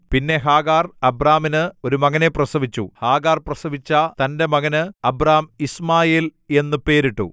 പിന്നെ ഹാഗാർ അബ്രാമിന് ഒരു മകനെ പ്രസവിച്ചു ഹാഗാർ പ്രസവിച്ച തന്റെ മകന് അബ്രാം യിശ്മായേൽ എന്നു പേരിട്ടു